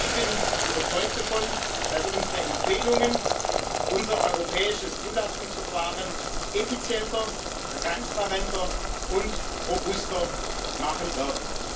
Ich bin überzeugt davon, dass unsere Empfehlungen unser europäisches Zulassungsverfahren effizienter, transparenter und robuster machen werden.